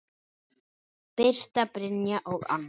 Birta, Brynja og Anna.